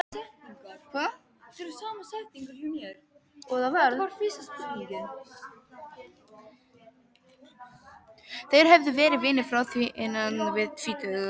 Þeir höfðu verið vinir frá því innan við tvítugt.